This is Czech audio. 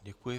Děkuji.